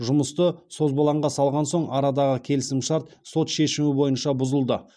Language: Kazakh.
жұмысты созбалаңға салған соң арадағы келісімшарт сот шешімі бойынша бұзылды